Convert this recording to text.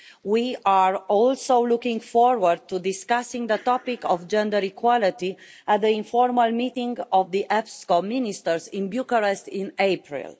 We are also looking forward to discussing the topic of gender equality at the informal meeting of the EPSCO ministers in Bucharest in April.